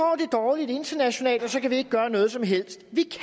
dårligt internationalt så kan vi ikke gøre noget som helst vi